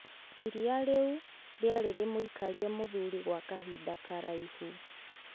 Iriia rĩu rĩarĩ rĩmũikarie mũthuri gwa kahinda karaihu.